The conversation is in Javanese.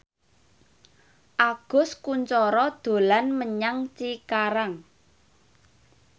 Agus Kuncoro dolan menyang Cikarang